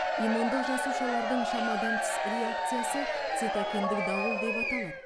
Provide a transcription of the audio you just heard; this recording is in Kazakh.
иммундық жасушалардың шамадан тыс реакциясы цитокиндік дауыл деп аталады